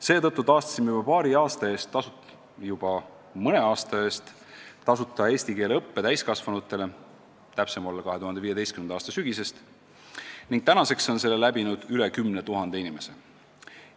Seetõttu taastasime juba mõne aasta eest tasuta eesti keele õppe täiskasvanutele – kui täpsem olla, siis 2015. aasta sügisest – ning nüüdseks on selle läbinud üle 10 000 inimese.